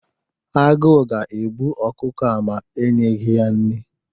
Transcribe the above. Agụụ ga-egbu ọkụkọ ma e nyeghi ya nri.